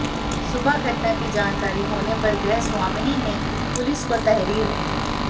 सुबह घटना की जानकारी होने पर गृहस्वामिनी ने पुलिस को तहरीर दी